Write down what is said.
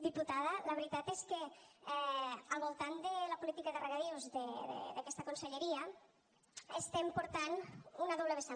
diputada la veritat és que al voltant de la política de regadius d’aquesta conselleria estem portant una doble vessant